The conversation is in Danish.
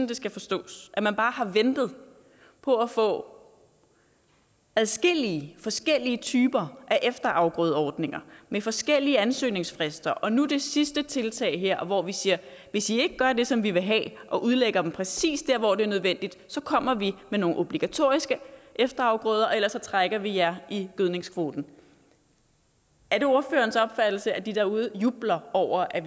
det skal forstås at man bare har ventet på at få adskillige forskellige typer af efterafgrødeordninger med forskellige ansøgningsfrister og nu er der det sidste tiltag her hvor vi siger hvis i ikke gør det som vi vil have og udlægger dem præcis der hvor det er nødvendigt så kommer vi med nogle obligatoriske efterafgrøder og ellers trækker vi jer i gødningskvoten er det ordførerens opfattelse at de derude jubler over at